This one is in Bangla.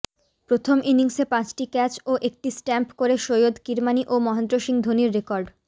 প্রথম ইনিংসে পাঁচটি ক্যাচ ও একটি স্টাম্প করে সৈয়দ কিরমানি ও মহেন্দ্র সিং ধোনির রেকর্ড